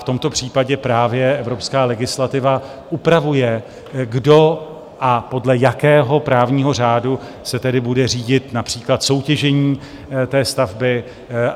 V tomto případě právě evropská legislativa upravuje, kdo a podle jakého právního řádu se tedy bude řídit například soutěžení té stavby.